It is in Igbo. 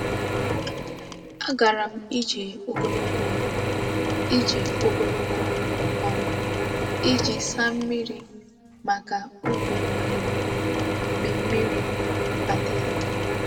Agara m ije ogologo m ije ogologo um iji saa mmiri maka ubi nri m mgbe mmiri adịghị.